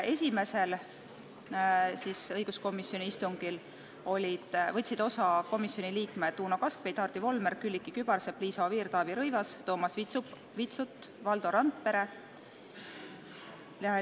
Esimesest õiguskomisjoni istungist võtsid osa komisjoni liikmed Uno Kaskpeit, Hardi Volmer, Külliki Kübarsepp, Liisa Oviir, Taavi Rõivas, Toomas Vitsut ja Valdo Randpere.